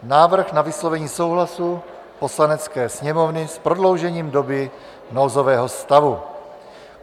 Návrh na vyslovení souhlasu Poslanecké sněmovny s prodloužením doby nouzového stavu